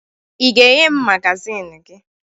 Ị ga-enye m magazin gị?